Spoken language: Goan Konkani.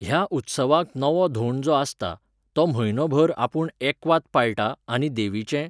ह्या उत्सवाक नवो धोंड जो आसता, तो म्हयनोभर आपूण एकवात पाळटा आनी देवीचें